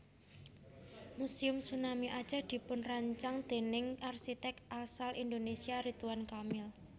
Muséum Tsunami Aceh dipunrancang déning arsiték asal Indonesia Ridwan Kamil